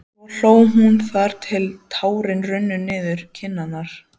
Svo hló hún þar til tárin runnu niður kinnarnar.